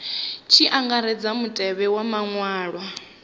tshi angaredzwa mutevhe wa maṅwalwa